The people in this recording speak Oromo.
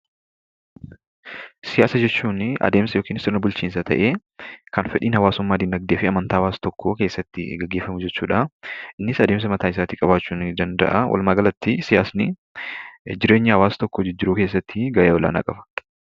Siyaasa jechuunii adeemsa yookiin sirna bulchiinsaa ta'ee kan fedhiin hawaasummaa dinagdeefi amantaa hawaasa tokkoo keessatti gaggeefamu jechuudha. Innis adeemsa mataa isaatii qabaachuu ni danda'a. Walumaa galatti siyaasni jireenya hawaasa tokkoo keessatti gahee olaanaa qaba.